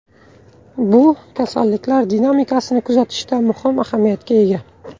Bu kasalliklar dinamikasini kuzatishda muhim ahamiyatga ega.